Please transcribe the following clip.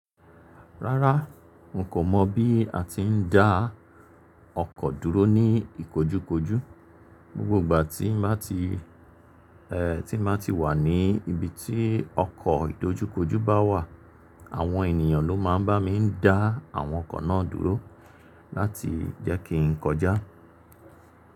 Rárá, mo kan mọ̀ bí a ti ń dá ọkọ̀ dúró ní ìkojúkojú, gbogbo ìgbà tí má ti, ẹ, tí má ti wà ní ibi tí ọkọ̀ ìdójúkojú bá wà, àwọn ènìyàn ló má ń bá mi dá àwọn ọkọ̀ náà dúró láti jẹ́ kí n kọjá.